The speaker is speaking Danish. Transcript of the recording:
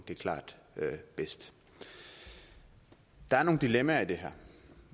det klart bedst der er nogle dilemmaer i det her